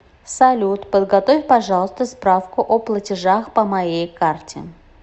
салют подготовь пожалуйста справку о платежах по моей карте